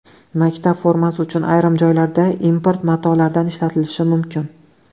Maktab formasi uchun ayrim joylarda import matolardan ishlatilishi mumkin.